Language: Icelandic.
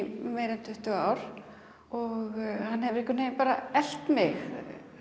meira í tuttugu ár hann hefur einhvern veginn elt mig